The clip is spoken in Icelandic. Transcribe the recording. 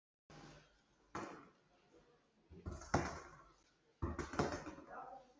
Hún stóð við gluggann þegar hann kom fram.